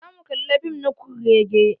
Za mu kalla fim na kurrege.